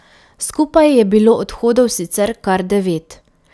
Skupaj je bilo odhodov sicer kar devet.